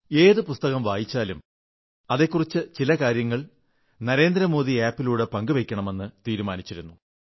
ഏതു പുസ്തകം വായിച്ചാലും അതെക്കുറിച്ച് ചില കാര്യങ്ങൾ നരേന്ദ്ര മോദി ആപ് ലൂടെ പങ്കുവയ്ക്കുമെന്ന് തീരുമാനിച്ചിരുന്നു